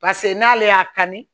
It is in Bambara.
Paseke n'ale y'a kanu